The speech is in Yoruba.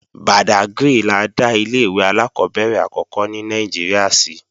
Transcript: Bàdágrì la dá ilé-ìwé alákọ́bẹ̀rẹ̀ àkọ́kọ́ ní Nàìjíríà sí